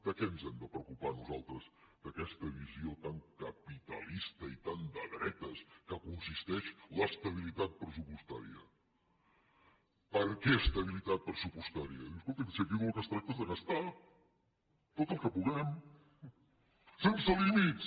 de què ens hem de preocupar nosaltres d’aquesta visió tan capitalista i tan de dretes que consisteix l’estabilitat pressupostària per què estabilitat pressupostària diu escolti’m si aquí del que es tracta és de gastar tot el que puguem sense límits